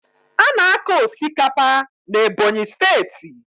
A na-akọ osikapa na Ebonyi steeti.